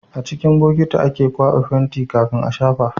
A cikin bokiti ake kwaba fenti kafin a shafa